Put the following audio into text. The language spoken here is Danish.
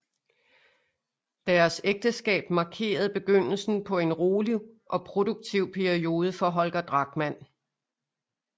Deres ægteskab markerede begyndelsen på en rolig og produktiv periode for Holger Drachmann